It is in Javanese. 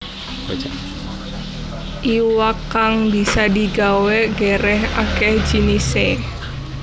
Iwak kang bisa digawé gerèh akéh jinisé